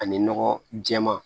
Ani nɔgɔ jɛɛman